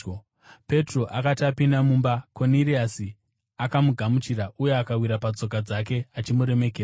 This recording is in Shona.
Petro akati apinda mumba, Koniriasi akamugamuchira uye akawira patsoka dzake achimuremekedza.